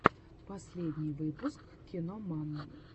последний выпуск киноман